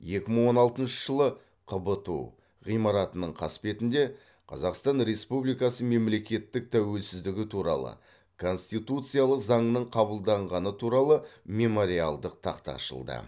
екі мың он алтыншы жылы қбту ғимаратының қасбетінде қазақстан республикасы мемлекеттік тәуелсіздігі туралы конституциялық заңның қабылданғаны туралы мемориалдық тақта ашылды